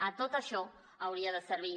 a tot això hauria de servir